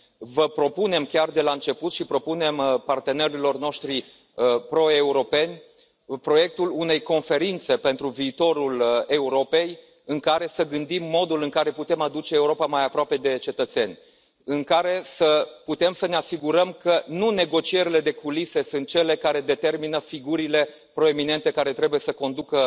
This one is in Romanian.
Vă propunem chiar de la început și propunem partenerilor noștri pro europeni proiectul unei Conferințe pentru viitorul Europei, în care să gândim modul în care putem aduce Europa mai aproape de cetățeni, în care să putem să ne asigurăm că nu negocierile de culise sunt cele care determină figurile proeminente care trebuie să conducă